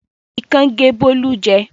Ikán gé Bólú jẹ.